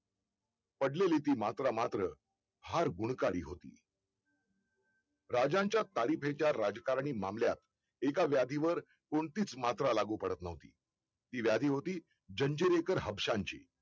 पडलेली ती मात्रा मात्र फार गुणकारी होती राजांच्या ताडी भेद च्या राजकारणी मामल्यात एका व्याधी वर कोणतीच मात्रा लागू पडत नव्हती ती व्याधी होती जंजिरीकर हापसांशी